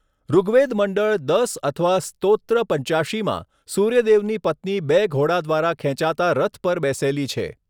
ઋગ્વેદ મંડળ દસ અથવા સ્તોત્ર પંચ્યાશીમાં, સૂર્યદેવની પત્ની બે ઘોડા દ્વારા ખેંચાતા રથ પર બેસેલી છે.